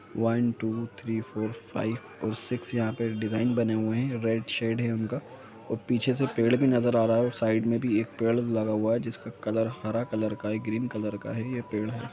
One two three four five और six यहाँ पे डिजाइन बने हुए हैं रेड शेड हैं उनका और पीछे से पेड़ भी नजर आ रहा है और साइड में भी एक पेड़ लगा हुआ है जिसका कलर हरा कलर का हैं ग्रीन कलर का हैं ये पेड़ है।